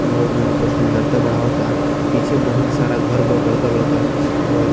वो जो ये ना सुंदरता बढ़ावता पीछे बहुत सारा घर बा बरका-बरका और --